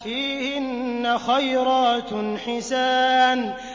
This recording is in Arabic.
فِيهِنَّ خَيْرَاتٌ حِسَانٌ